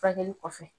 Furakɛli kɔfɛ